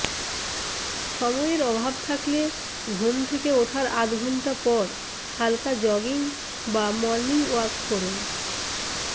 সময়ের অভাব থাকলে ঘুম থেকে ওঠার আধ ঘণ্টা পর হালকা জগিং বা মর্নিং ওয়ার্ক করুন